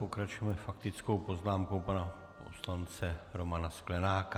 Pokračujeme faktickou poznámkou pana poslance Romana Sklenáka.